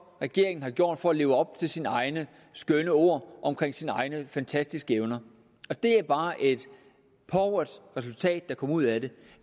regeringen har gjort for at leve op til sine egne skønne ord om sine egne fantastiske evner og det er bare et pauvert resultat der kommer ud af det